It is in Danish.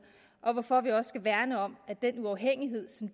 og hvorfor vi også skal værne om at den uafhængighed